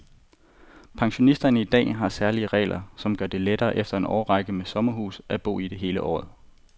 Pensionister har i dag særlige regler, som gør det lettere efter en årrække med sommerhus at bo i det hele året.